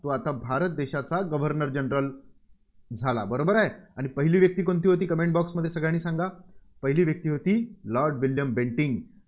तो आता भारत देशाचा governor general झाला. बरोबर आहे? आणि पहिली व्यक्ती कोणती होती? comment box मध्ये सगळ्यांनी सांगा. पहिली व्यक्ती होती, लॉर्ड विल्यम बेंटिंक